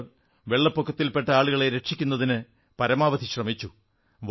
അവർ വെള്ളപ്പൊക്കത്തിൽ പെട്ട ആളുകളെ രക്ഷിക്കുന്നതിന് പരമാവധി ശ്രമിച്ചു